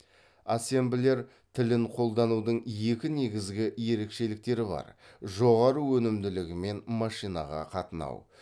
ассемблер тілін қолданудың екі негізгі ерекшеліктері бар жоғары өнімділігі мен машинаға қатынау